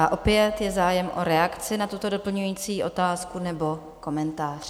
A opět je zájem o reakci na tuto doplňující otázku nebo komentář?